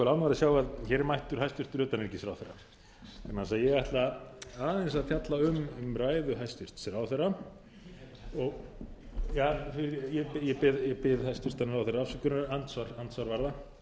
ánægður að sjá að hér er mættur hæstvirts utanríkisráðherra vegna þess að ég ætla aðeins að fjalla um ræðu hæstvirts ráðherra ég bið hæstvirtan ráðherra afsökunar andsvar